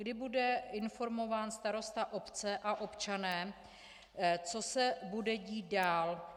Kdy bude informován starosta obce a občané, co se bude dít dál?